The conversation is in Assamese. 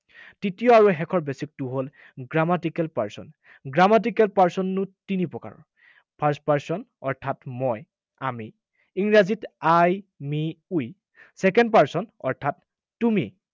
তৃতীয় আৰু শেষৰ basic টো হল, grammatical person. Grammatical person হল তিনি প্ৰকাৰৰ। First person অৰ্থাৎ মই, আমি, ইংৰাজীত I, me, we, second person অৰ্থাৎ তুমি